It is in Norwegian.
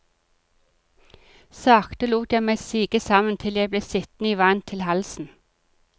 Sakte lot jeg meg sige sammen til jeg ble sittende i vann til halsen.